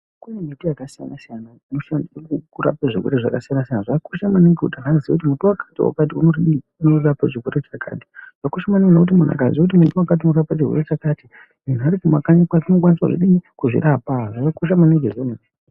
Kune miti yakasiyana siyana inoshandiswa kurapa zvirwere zvakasiyana-siyana zvakakosha maningi kuti muntu aziye kuti muti wakati wakati unorapa zvakati Zvakakosha maningi kuti muntu akati azive kuti muti wakati unorapa chirwere chakati muntu Ari kumakanyi kwake anokwanisa kuzvirapa zvakakosha maningi.